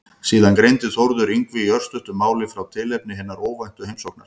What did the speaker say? Síðan greindi Þórður Yngvi í örstuttu máli frá tilefni hinnar óvæntu heimsóknar.